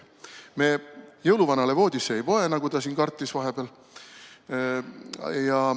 Me jõuluvanale voodisse ei poe, nagu ta siin kartis vahepeal.